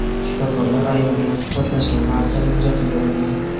Shifokorlar ayol bilan suhbatlashgan barchani kuzatuvga olgan.